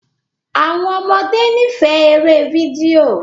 Àwọn ọmọdé n'ifẹ èrè fídíò